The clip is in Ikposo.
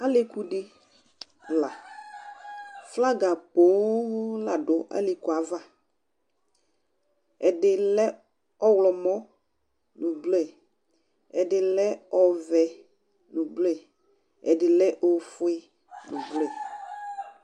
Alɩ ku dɩ la, flaga pooo la dʋ alɩku ava: ɛdɩ lɛ ɔɣlɔmɔ nʋ blue, ɛdɩ lɛ ɔvɛ nʋ blue, ɛdɩ lɛ ofue nʋ blue